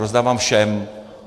Rozdávám všem.